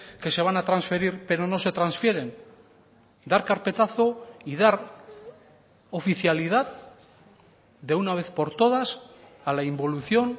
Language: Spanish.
que se van a transferir pero no se transfieren dar carpetazo y dar oficialidad de una vez por todas a la involución